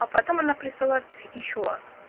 а потом она присылает ещё